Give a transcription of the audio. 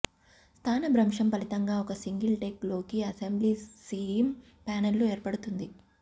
స్థానభ్రంశం ఫలితంగా ఒక సింగిల్ డెక్ లోకి అసెంబ్లీ సీమ్ ప్యానెల్లు ఏర్పడుతుంది